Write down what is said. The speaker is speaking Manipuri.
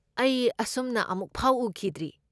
ꯑꯩ ꯑꯁꯨꯝꯅ ꯑꯃꯨꯛꯐꯥꯎ ꯎꯈꯤꯗ꯭ꯔꯤ꯫